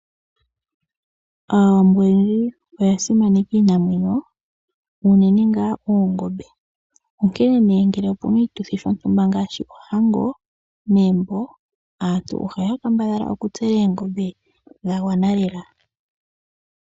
Aawambo oyendji oya simaneka iinamwenyo, uunene ngaa oongombe. Onkene nee ngele opuna oshituthi shontumba ngaashi ohango megumbo, aantu ohaya kambadhala okutsela oongombe dha gwana lela.